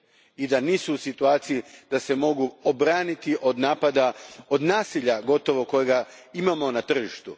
i da nisu u situaciji da se mogu obraniti od napada, od nasilja gotovo, kojega imamo na tržištu.